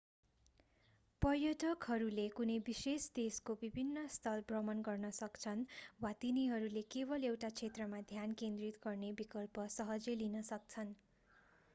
पर्यटकहरूले कुनै विशेष देशको विभिन्न स्थल भ्रमण गर्न सक्छन् वा तिनीहरूले केवल एउटा क्षेत्रमा ध्यान केन्द्रित गर्ने विकल्प सहजै लिन सक्छन्